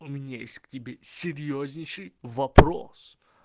у меня есть к тебе серьёзнейший вопрос